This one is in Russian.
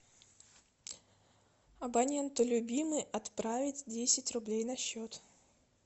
абоненту любимый отправить десять рублей на счет